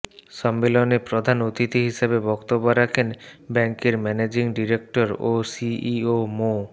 সম্মেলনে প্রধান অতিথি হিসেবে বক্তব্য রাখেন ব্যাংকের ম্যানেজিং ডিরেক্টর ও সিইও মো